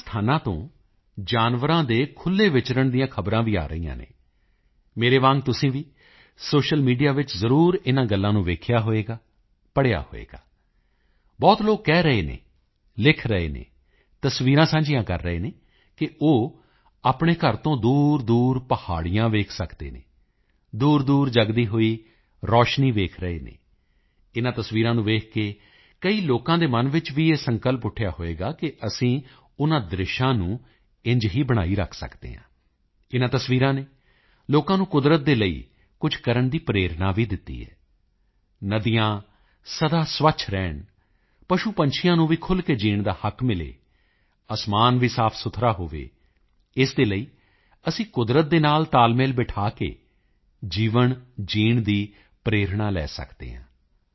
ਅਨੇਕਾਂ ਸਥਾਨਾਂ ਤੋਂ ਜਾਨਵਰਾਂ ਦੇ ਖੁੱਲ੍ਹੇ ਵਿਚਰਣ ਦੀਆਂ ਖ਼ਬਰਾਂ ਵੀ ਆ ਰਹੀਆਂ ਹਨ ਮੇਰੀ ਤਰ੍ਹਾਂ ਤੁਸੀਂ ਵੀ ਸੋਸ਼ੀਅਲ ਮੀਡੀਆ ਵਿੱਚ ਜ਼ਰੂਰ ਇਨ੍ਹਾਂ ਗੱਲਾਂ ਨੂੰ ਦੇਖਿਆ ਹੋਵੇਗਾ ਪੜ੍ਹਿਆ ਹੋਵੇਗਾ ਬਹੁਤ ਲੋਕ ਕਹਿ ਰਹੇ ਹਨ ਲਿਖ ਰਹੇ ਹਨ ਤਸਵੀਰਾਂ ਸਾਂਝੀਆਂ ਕਰ ਰਹੇ ਹਨ ਕਿ ਉਹ ਆਪਣੇ ਘਰ ਤੋਂ ਦੂਰਦੂਰ ਪਹਾੜੀਆਂ ਦੇਖ ਸਕਦੇ ਹਨ ਦੂਰਦੂਰ ਜਗਦੀ ਹੋਈ ਰੋਸ਼ਨੀ ਦੇਖ ਰਹੇ ਹਨ ਇਨ੍ਹਾਂ ਤਸਵੀਰਾਂ ਨੂੰ ਦੇਖ ਕੇ ਕਈ ਲੋਕਾਂ ਦੇ ਮਨ ਵਿੱਚ ਵੀ ਇਹ ਸੰਕਲਪ ਉੱਠਿਆ ਹੋਵੇਗਾ ਕਿ ਅਸੀਂ ਉਨ੍ਹਾਂ ਦ੍ਰਿਸ਼ਾਂ ਨੂੰ ਇੰਝ ਹੀ ਬਣਾਈ ਰੱਖ ਸਕਦੇ ਹਾਂ ਇਨ੍ਹਾਂ ਤਸਵੀਰਾਂ ਨੇ ਲੋਕਾਂ ਨੂੰ ਕੁਦਰਤ ਦੇ ਲਈ ਕੁਝ ਕਰਨ ਦੀ ਪ੍ਰੇਰਣਾ ਵੀ ਦਿੱਤੀ ਹੈ ਨਦੀਆਂ ਸਦਾ ਸਵੱਛ ਰਹਿਣ ਪਸ਼ੂਪੰਛੀਆਂ ਨੂੰ ਵੀ ਖੁੱਲ੍ਹ ਕੇ ਜੀਣ ਦਾ ਹੱਕ ਮਿਲੇ ਅਸਮਾਨ ਵੀ ਸਾਫ਼ਸੁਥਰਾ ਹੋਵੇ ਇਸ ਦੇ ਲਈ ਅਸੀਂ ਕੁਦਰਤ ਦੇ ਨਾਲ ਤਾਲਮੇਲ ਬਿਠਾ ਕੇ ਜੀਵਨ ਜੀਣ ਦੀ ਪ੍ਰੇਰਣਾ ਲੈ ਸਕਦੇ ਹਾਂ